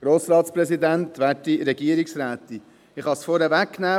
Ich kann es vorwegnehmen: